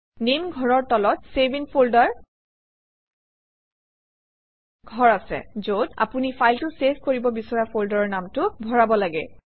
নামে ঘৰৰ তলত চেভ ইন ফল্ডাৰ ঘৰ আছে যত আপুনি ফাইলটো চেভ কৰিব বিচৰা ফল্ডাৰৰ নামটো ভৰাব লাগে